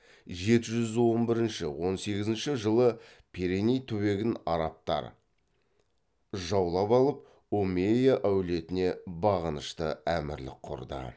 жеті жүз он бірінші он сегізінші жылы пиреней түбегін арабтар жаулап алып омейя әулетіне бағынышты әмірлік құрды